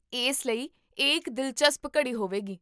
ਇਸ ਲਈ ਇਹ ਇੱਕ ਦਿਲਚਸਪ ਘੜੀ ਹੋਵੇਗੀ